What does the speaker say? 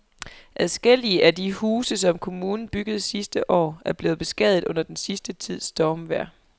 Adskillige af de huse, som kommunen byggede sidste år, er blevet beskadiget under den sidste tids stormvejr.